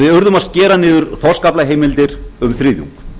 við urðum að skera niður þorskaflaheimildir um þriðjung